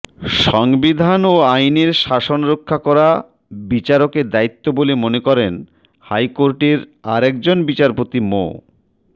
সংবিধান ও আইনের শাসন রক্ষা করা বিচারকের দায়িত্ব বলে মনে করেন হাইকোর্টের আরেকজন বিচারপতি মো